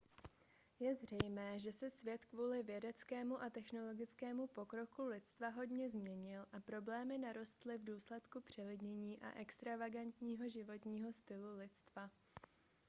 je zřejmé že se svět kvůli vědeckému a technologickému pokroku lidstva hodně změnil a problémy narostly v důsledku přelidnění a extravagantního životního stylu lidstva